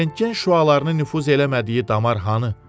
Rentgen şüalarını nüfuz eləmədiyi damar hanı?